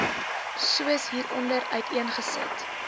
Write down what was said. soos hieronder uiteengesit